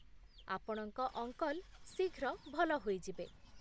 ଆପଣଙ୍କ ଅଙ୍କଲ ଶୀଘ୍ର ଭଲ ହୋଇଯିବେ।